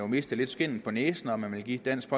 mistet skindet på næsen og man ville give dansk